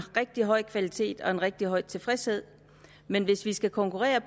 rigtig høj kvalitet og en rigtig høj tilfredshed men hvis vi skal konkurrere